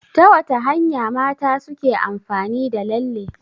Ta wata hanya mata suke amfani da lalle?